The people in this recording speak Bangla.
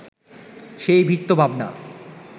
সেই বৃত্তভাবনা